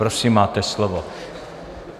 Prosím, máte slovo.